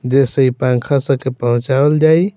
जैसे इ पंखा सब के पहुचावल जाइ।